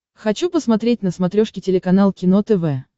хочу посмотреть на смотрешке телеканал кино тв